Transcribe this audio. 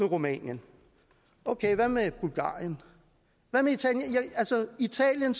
rumænien okay hvad med bulgarien hvad med italien